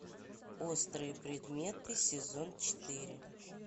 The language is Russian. острые предметы сезон четыре